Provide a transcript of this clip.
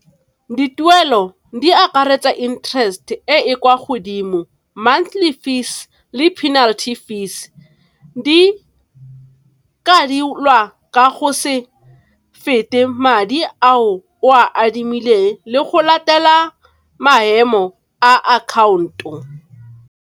Dituelo di akaretsa interest e e kwa godimo, monthly fees, le penalty fees, di lwa ka go se fete madi ao o a adimileng le go latela maemo a akhaonto.